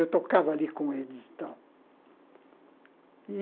Eu tocava ali com eles e tal.